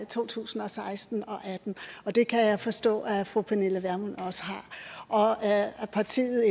to tusind og seksten og atten og det kan jeg forstå at fru pernille vermund også har og at partiet